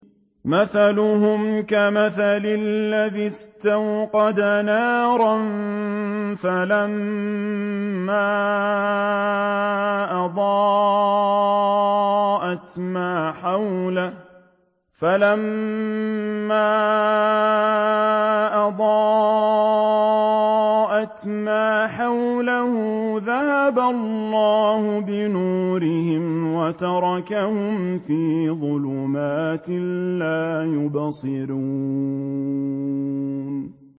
مَثَلُهُمْ كَمَثَلِ الَّذِي اسْتَوْقَدَ نَارًا فَلَمَّا أَضَاءَتْ مَا حَوْلَهُ ذَهَبَ اللَّهُ بِنُورِهِمْ وَتَرَكَهُمْ فِي ظُلُمَاتٍ لَّا يُبْصِرُونَ